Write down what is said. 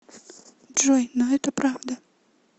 джой но это правда